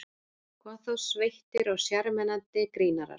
Hvað þá sveittir og sjarmerandi grínarar.